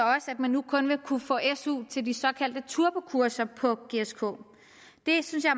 man nu kun vil kunne få su til de såkaldte turbokurser på gsk det synes jeg